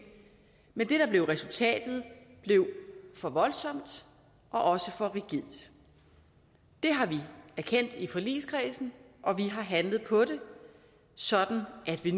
men det der blev resultatet blev for voldsomt og også for rigidt det har vi erkendt i forligskredsen og vi har handlet på det sådan at vi